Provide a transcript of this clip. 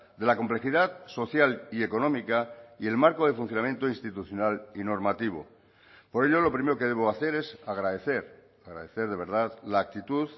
de la complejidad social y económica y el marco de funcionamiento institucional y normativo por ello lo primero que debo hacer es agradecer agradecer de verdad la actitud